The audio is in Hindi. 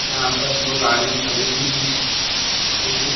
यहाँ पर दो गाड़ियाँ खड़ी हुई हैं ए.सी. --